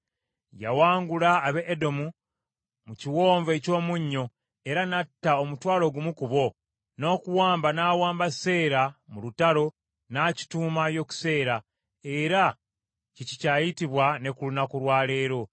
Yawangula ab’e Edomu mu Kiwonvu eky’Omunnyo, era n’atta omutwalo gumu ku bo, n’okuwamba n’awamba Seera mu lutalo, n’akituuma Yokuseeri, era kye kikyayitibwa ne ku lunaku lwa leero.